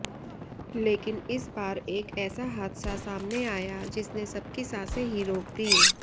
लेकिन इस बार एक ऐसा हादसा सामने आया जिसने सबकी सांसे ही रोक दी